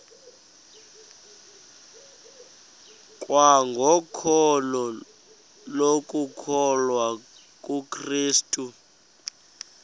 kwangokholo lokukholwa kukrestu